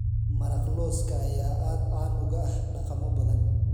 Maraq lawska ayaa aad caan uga ah dhaqamo badan